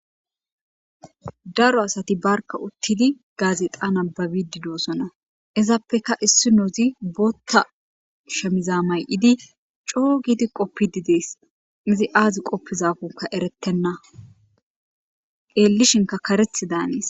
daro asati barka uttidi gaazeqa nababidi doossona izaappeka issi noozi bootta shemiza may7idi coo gidi qoppi didees izi aazi qoppizaafunka eretenna qeellishinka karethi daanees